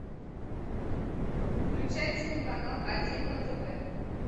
включай телеканал один на тв